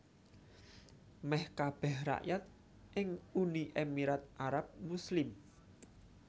Mèh kabèh rakyat ing Uni Emirat Arab Muslim